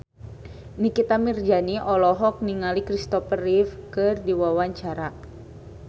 Nikita Mirzani olohok ningali Kristopher Reeve keur diwawancara